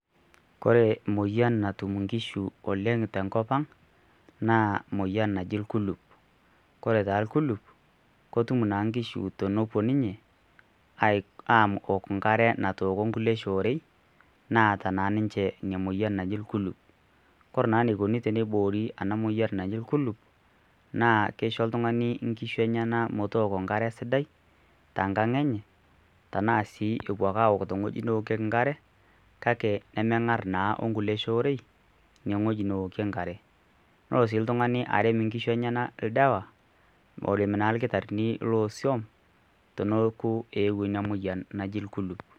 Ore moyian natum nkishu oleng tebnkopaang naa moyian naji rkuluk, ore taa orkuluk, ketum naa nkishu aimu nkare natooko kulie shoo nataa naa niche emoyian naji kuluk, na eneikuni peeiboori ena moyian najo kuluk naa kisho oltungani nkishu enyenak metooko enkare sida tenkang enye anaa si epuo ake aok enkare kake pemengar naake okulie shoore ewokito enkare, nelo si oltungani arem nkishu enyenak ldawa oimu naa irkitari teneaku ewuo inamoyian naji rkuluk.